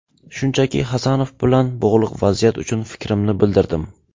Shunchaki, Hasanov bilan bog‘liq vaziyat uchun fikrimni bildirdim.